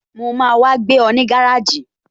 Mo máa wá gbé ọ ní gáràjì